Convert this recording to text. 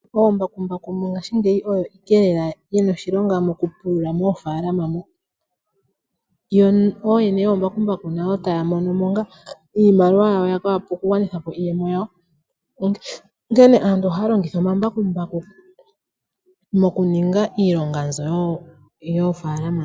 Mbakumbaku mongashingeyi oyo ayike yina oshilonga mokupulula moofaalama. Yo nooyene yoombakumabaku taa mono mo ngaa iimaliwa ya wape okugwanitha po iiyemo yawo. Onkene aantu ohaa longitha omambakumbaku mokulonga iilonga mbyoka yomofaalama.